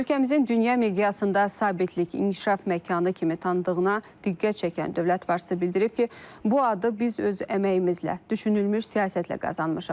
Ölkəmizin dünya miqyasında sabitlik, inkişaf məkanı kimi tanındığına diqqət çəkən dövlət başçısı bildirib ki, bu adı biz öz əməyimizlə, düşünülmüş siyasətlə qazanmışıq.